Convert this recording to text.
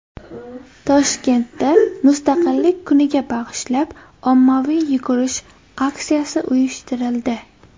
Toshkentda Mustaqillik kuniga bag‘ishlab ommaviy yugurish aksiyasi uyushtirildi.